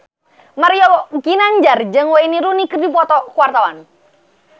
Mario Ginanjar jeung Wayne Rooney keur dipoto ku wartawan